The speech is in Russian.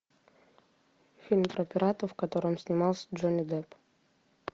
фильм про пиратов в котором снимался джонни депп